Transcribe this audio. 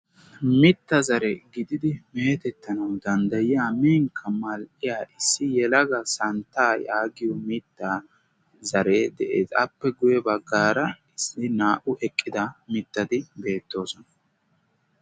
mitta zare gididi meetettanawu danddayiya minkka mal''iya issi yelaga santtaa yaagiyo mitta zare de'ees aappe guyye baggaara issi naa''u eqqida mittadi beettoosona